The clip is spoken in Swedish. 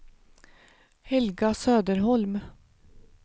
Helga Söderholm